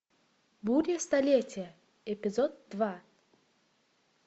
буря столетия эпизод два